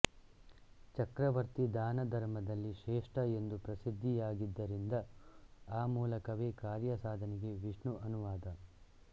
ಚಕ್ರವರ್ತಿ ದಾನ ಧರ್ಮದಲ್ಲಿ ಶ್ರೇಷ್ಠ ಎಂದು ಪ್ರಸಿದ್ಧಿಯಾಗಿದ್ದರಿಂದ ಆ ಮೂಲಕವೇ ಕಾರ್ಯ ಸಾಧನೆಗೆ ವಿಷ್ಣು ಅನುವಾದ